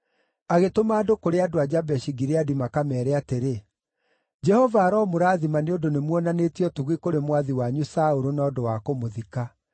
agĩtũma andũ kũrĩ andũ a Jabeshi-Gileadi makameere atĩrĩ, “Jehova aromũrathima nĩ ũndũ nĩmuonanĩtie ũtugi kũrĩ mwathi wanyu Saũlũ na ũndũ wa kũmũthika.